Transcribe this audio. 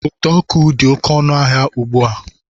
Ụdọ ọkụ dị oké ọnụ ahịa ugbu a